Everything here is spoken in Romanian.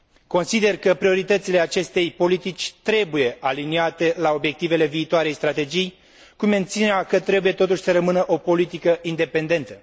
Consider că prioritățile acestei politici trebuie aliniate la obiectivele viitoarei strategii, cu mențiunea că trebuie totuși să rămână o politică independentă.